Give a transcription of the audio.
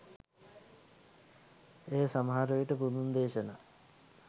එය සමහරවිට බුදුන් දේශනා